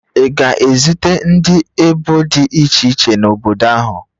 Ị ga-ezute ndị ebo dị iche iche n'obodo ahụ